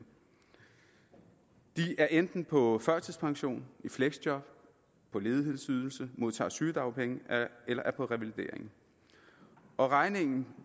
de er enten på førtidspension i fleksjob på ledighedsydelse modtager sygedagpenge eller er på revalidering og regningen